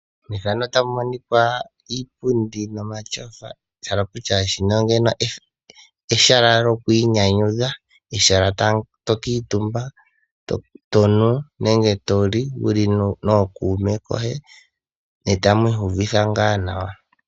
Opu na iipundi nomatyofa, sha hala okutya shika ehala lyokwiinyanyudha, e hala to kuutumba, to nu nenge to li wu li nookuume koye ne tamu oyuvitha ngaa nawa.